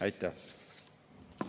Aitäh!